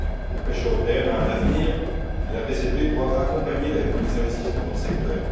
La pêche européenne a un avenir et la PCP doit accompagner les investissements dans le secteur.